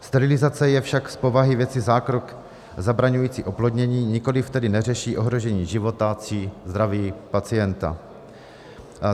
Sterilizace je však z povahy věci zákrok zabraňující oplodnění, nikoliv tedy neřeší ohrožení života či zdraví pacienta.